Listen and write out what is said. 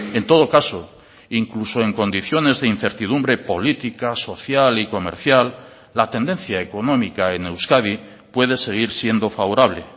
en todo caso incluso en condiciones de incertidumbre política social y comercial la tendencia económica en euskadi puede seguir siendo favorable